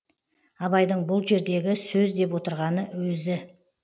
абайдың бұл жердегі сөз деп отырғаны өзі